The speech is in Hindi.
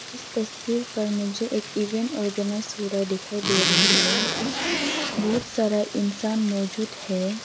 इस तस्वीर पर मुझे एक इवेंट ऑर्गेनाइज हो रहा दिखाई दे रही है बहुत सारा इंसान मौजूद है।